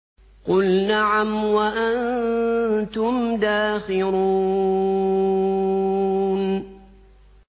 قُلْ نَعَمْ وَأَنتُمْ دَاخِرُونَ